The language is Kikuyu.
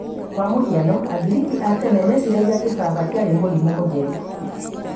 kwa mũhiano, angiriki a tena meciaragia kĩbaba kĩarĩ ''mũrĩmu mũtheru"